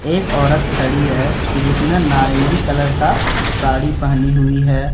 एक औरत खड़ी है जिसने नारंगी कलर का साड़ी पहनी हुई है।